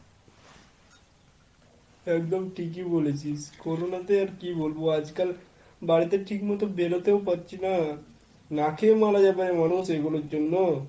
একদম ঠিকই বলেছিস। corona তে আর কি বলবো আজকাল বাইরে তে ঠিক মতো বেরোতে ও পারছিনা, না খেয়ে মারা হবে মানুষ এগুলোর জন্য।